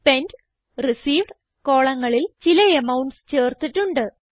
spent received കോളങ്ങളിൽ ചില amounts ചേർത്തിട്ടുണ്ട്